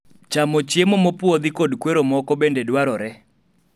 chamo chiemo mopuodhi kod kwero moko bende dwaroro ne